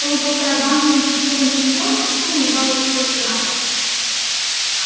полупустая банка консервированных грибов со стуком упала со столика на пол